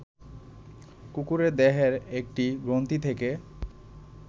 কুকুরের দেহের একটি গ্রন্থি থেকে